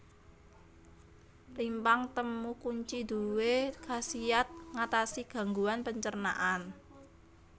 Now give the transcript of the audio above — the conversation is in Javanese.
Rimpang temu kunci duwé khasiat ngatasi gangguan pencernaan